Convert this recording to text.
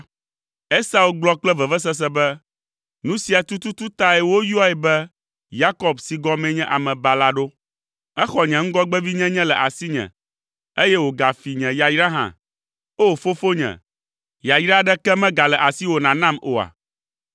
Esau gblɔ kple vevesese be, “Nu sia tututu tae woyɔe be Yakob si gɔmee nye ‘Amebala’ ɖo. Exɔ nye ŋgɔgbevinyenye le asinye, eye wògafi nye yayra hã. Oo, fofonye, yayra aɖeke megale asiwò nànam oa?”